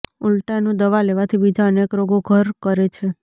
ઊલટાનું દવા લેવાથી બીજા અનેક રોગો ઘર કરે છે